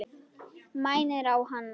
Mænir á hann.